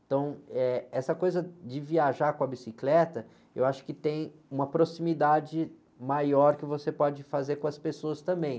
Então, eh, essa coisa de viajar com a bicicleta, eu acho que tem uma proximidade maior que você pode fazer com as pessoas também.